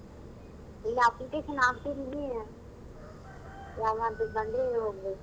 ಇಲ್ಲ application ಹಾಕ್ತಿದಿನಿ job ಆಗ್ತಿದ್ದಂಗೆ ಹೋಗ್ಬೇಕು.